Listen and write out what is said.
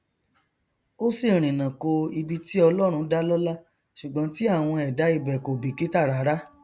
ó sì rìnnà ko ibi tí ọlọrun dá lọlá ṣùgbọn tí àwọn èdá ibẹ kò bìkítà rárá